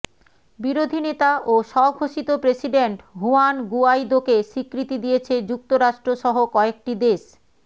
বিরোধী নেতা ও স্বঘোষিত প্রেসিডেন্ট হুয়ান গুয়াইদোকে স্বীকৃতি দিয়েছে যুক্তরাষ্ট্রসহ কয়েকটি দেশ